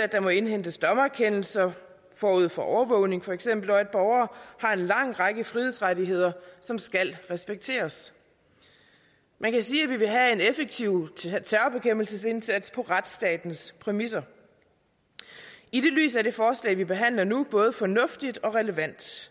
at der må indhentes dommerkendelser forud for overvågning og at borgere har en lang række frihedsrettigheder som skal respekteres man kan sige at vi vil have en effektiv terrorbekæmpelsesindsats på retsstatens præmisser i det lys er det forslag vi behandler nu både fornuftigt og relevant